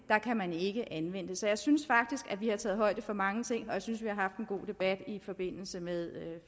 ikke kan anvendes så jeg synes faktisk vi har taget højde for mange ting og jeg synes vi har haft en god debat i forbindelse med